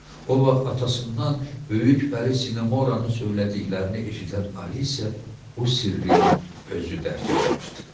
O vaxt atasından böyük Pəri Sinenanın söylədiklərini eşidən Alisə bu sirri özü dərk eləmişdi.